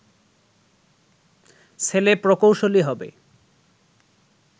ছেলে প্রকৌশলী হবে